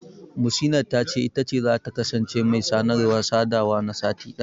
Muhsinat ta ce, ita ce zata kasance mai sanarwa/sadawa na sati ɗaya.